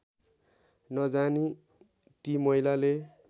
नजानी ती महिलाले